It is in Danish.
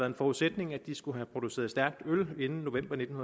en forudsætning at de skulle have produceret stærkt øl inden november nitten